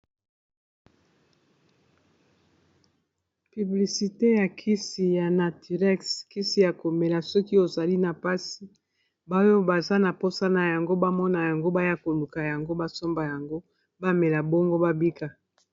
piblisite ya kisi ya naturex kisi ya komela soki ozali na mpasi baoyo baza na mposa na yango bamona yango baya koluka yango basomba yango bamela bongo babika